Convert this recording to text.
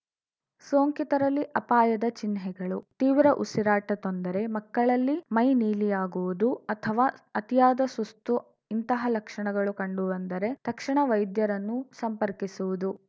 ಸೋಂಕಿತರಲ್ಲಿ ಅಪಾಯದ ಚಿಹ್ನೆಗಳು ತೀವ್ರ ಉಸಿರಾಟ ತೊಂದರೆ ಮಕ್ಕಳಲ್ಲಿ ಮೈ ನೀಲಿಯಾಗುವುದು ಅಥವಾ ಅತಿಯಾದ ಸುಸ್ತು ಇಂತಹ ಲಕ್ಷಣಗಳು ಕಂಡು ಬಂದರೆ ತಕ್ಷಣ ವೈದ್ಯರನ್ನು ಸಂಪರ್ಕಿಸುವುದು